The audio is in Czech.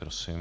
Prosím.